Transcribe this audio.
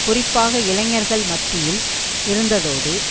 குறிப்பாக இளைஞர்கள் மத்தியில் இருந்ததோடு